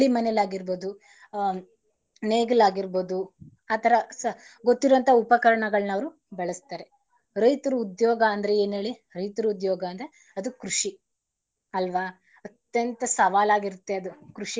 ಮನೇಲಿ ಆಗಿರ್ಬೋದು ಹ ನೇಗಿಲಾಗಿರ್ಬೋದು ಆತರ ಸಾ ಗೊತ್ತಿರೋ ಅಂತ ಉಪಕರಣಗಳನ್ನ ಅವರು ಬಳಸ್ತಾರೆ. ರೈತರ ಉದ್ಯೋಗ ಅಂದ್ರೆ ಏನ್ ಹೇಳಿ ರೈತರ ಉದ್ಯೋಗ ಅಂದ್ರೆ ಅದು ಕೃಷಿ ಅಲ್ವಾ ಅತ್ಯಂತ ಸವಾಲಾಗಿರುತ್ತೆ ಅದು.